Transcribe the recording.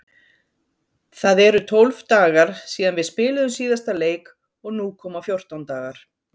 Það eru tólf dagar síðan við spiluðum síðasta leik og nú koma fjórtán dagar.